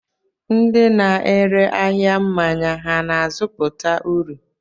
Ndị na-ere ahịa mmanya ha na-azụta uru?